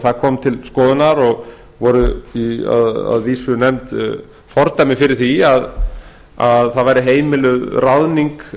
það kom til skoðunar og voru að vísu nefnd fordæmi fyrir því að það væri heimiluð ráðning